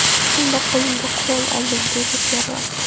Shunda qo‘limga qurol oldim”, deydi terrorchi.